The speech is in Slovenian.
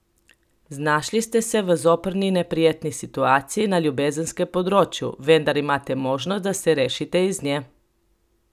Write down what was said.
Znašli ste se v zoprni neprijetni situaciji na ljubezenskem področju, vendar imate možnosti, da se rešite iz nje.